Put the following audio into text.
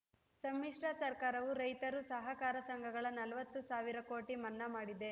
ಸಮ್ಮಿಶ್ರ ಸರ್ಕಾರವೂ ರೈತರು ಸಹಕಾರ ಸಂಘಗಳ ನಲವತ್ತು ಸಾವಿರ ಕೋಟಿ ಮನ್ನಾ ಮಾಡಿದೆ